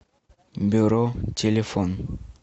бюро телефон